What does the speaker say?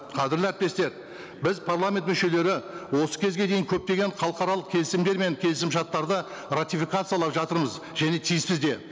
қадірлі әріптестер біз парламент мүшелері осы кезге дейін көптеген халықаралық келісімдер мен келісімшарттарды ратификациялап жатырмыз және тиіспіз де